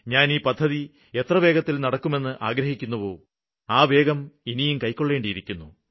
ഞാന് ഈ പദ്ധതി എത്ര വേഗത്തില് നടക്കുമെന്ന് ആഗ്രഹിക്കുന്നുവോ ആ വേഗം ഇനിയും കൈവരിക്കേണ്ടിയിരിക്കുന്നു